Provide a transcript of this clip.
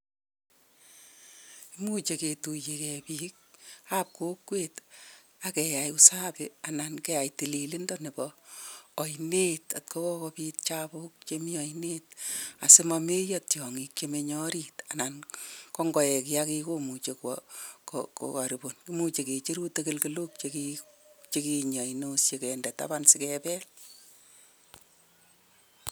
Imuchi ketuiyeke biik ab kokwet ak keyai usapi anan keyai tililindo nebo ainet kokokopiit chabuk chemii ainet asimameiyo tyongik chemenye orit anan kongoek yakekomuchi kokorobun imuchi kecheru tagalgalok chemii ainok si gendee taban sikebel.